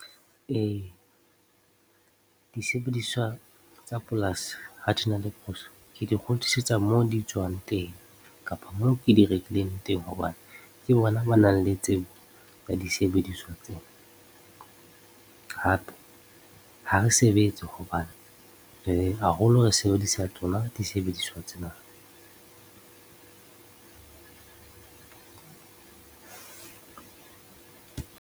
Ee, disebediswa tsa polasi ha di na le phoso, ke di kgutlisetsa mo di tswang teng kapa moo ke di rekileng teng hobane ke bona ba nang le tsebo ka disebediswa tsena hape ha re sebetse hobane haholo re sebedisa tsona disebediswa tsena .